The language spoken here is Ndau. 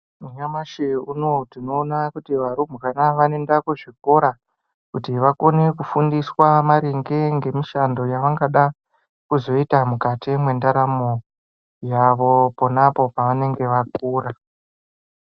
Nyamashi unowu tinoona kuti varumbwana vanoenda kuzvikora kuti vakone kufundiswa maringe ngemushando wavangada kuzoita mukati mwendaramwo yavo ponapo pavanenge vakura.